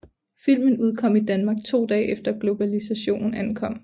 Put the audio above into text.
Filmen udkom i Danmark to dage efter Globalization ankom